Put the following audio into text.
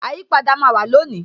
Àyípadà máa wà lónìí